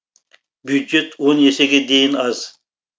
бюджет есеге дейін аз